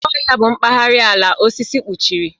Oké Ọhịa bụ mpaghara ala osisi kpuchiri.